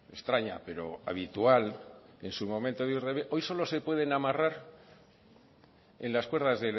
extraña pero habitual en su momento hoy solo se pueden amarrar en las cuerdas